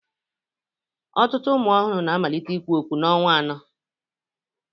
Ọtụtụ ụmụ ọhụrụ na-amalite ikwu okwu n'ọnwa anọ